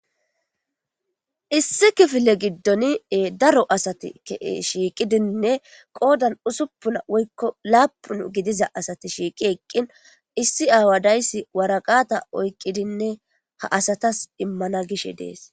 Issi kifile giddoni daro asati shiiqidinne qoodan usuppuna woykko laaphun gidiza asati shiiqi eqqin issi aawadayssi waraqata oyqqidinne ha asatas immana gishe dees.